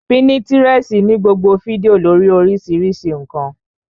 Pínítirẹsi ní gbogbo fídíò lórii oríṣiríṣi ǹkan